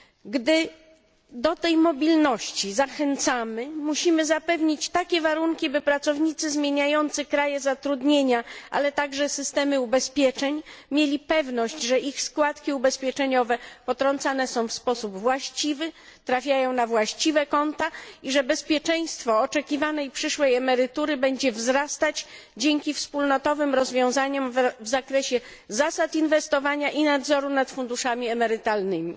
Gdy do tej mobilności zachęcamy, musimy zapewnić takie warunki, by pracownicy zmieniający kraje zatrudnienia, a także systemy ubezpieczeń, mieli pewność, że ich składki ubezpieczeniowe potrącane są w sposób właściwy, trafiają na właściwe konta i że bezpieczeństwo oczekiwanej przyszłej emerytury będzie wzrastać dzięki wspólnotowym rozwiązaniom w zakresie zasad inwestowania i nadzoru nad funduszami emerytalnymi.